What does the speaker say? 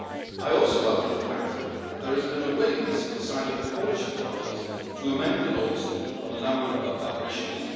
I also welcome the fact that there has been a willingness on the side of the Polish authorities to amend the laws on a number of other issues.